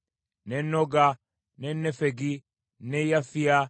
ne Noga, ne Nefegi, ne Yafiya,